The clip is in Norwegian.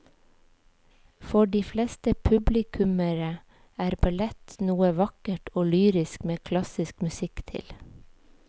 For de fleste publikummere er ballett noe vakkert og lyrisk med klassisk musikk til.